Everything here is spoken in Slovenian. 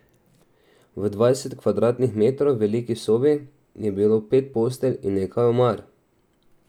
V dvajset kvadratnih metrov veliki sobi je bilo pet postelj in nekaj omar.